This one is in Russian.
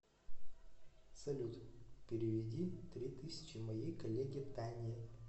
салют переведи три тысячи моей коллеге тане